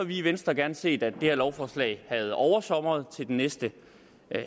vi i venstre gerne set at det her lovforslag havde oversomret til den næste